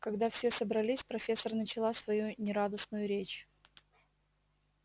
когда все собрались профессор начала свою нерадостную речь